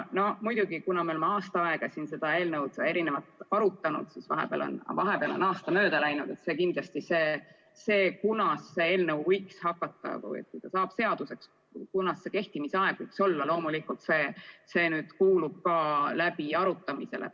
Aga kuna me oleme aasta aega siin seda eelnõu arutanud, vahepeal on aasta mööda läinud, siis see, kunas see eelnõu saab seaduseks, kunas see võiks kehtima hakata, kuulub loomulikult ka läbiarutamisele.